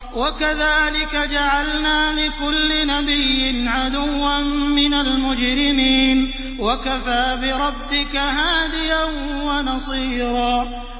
وَكَذَٰلِكَ جَعَلْنَا لِكُلِّ نَبِيٍّ عَدُوًّا مِّنَ الْمُجْرِمِينَ ۗ وَكَفَىٰ بِرَبِّكَ هَادِيًا وَنَصِيرًا